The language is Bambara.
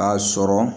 A sɔrɔ